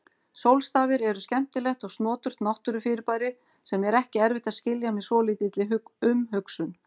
Sólstafir eru skemmtilegt og snoturt náttúrufyrirbæri sem er ekki erfitt að skilja með svolítilli umhugsun.